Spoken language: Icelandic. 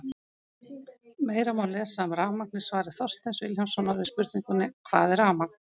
Meira má lesa um rafmagn í svari Þorsteins Vilhjálmssonar við spurningunni Hvað er rafmagn?